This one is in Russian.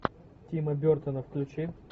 тима бертона включи